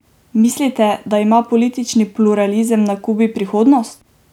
Mislite, da ima politični pluralizem na Kubi prihodnost?